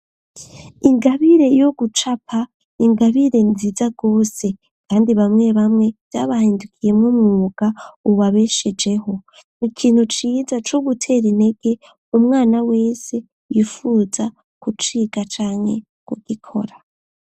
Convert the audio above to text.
Ingabire yo gucapa n'ingabire nziza gose kandi bamwe bamwe vyabahindukiyemwo umwuga ubabeshejeho. Ni kintu ciza co gutera intege umwana wese yifuza kuciga canke kugikora.